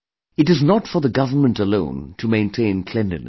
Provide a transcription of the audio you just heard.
It is not for the government alone to maintain cleanliness